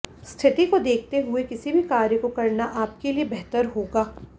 स्थिति को देखते हुए किसी भी कार्य को करना आपके लिए बेहतर होगा